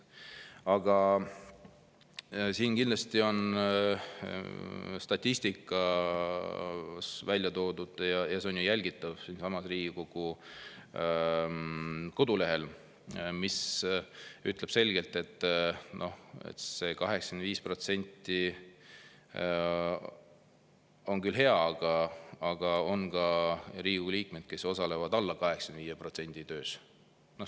Aga siin kindlasti on statistika välja toodud ja see on jälgitav Riigikogu kodulehel, mis ütleb selgelt, et see 85% on küll hea, aga on ka Riigikogu liikmeid, kes osalevad alla 85% töös.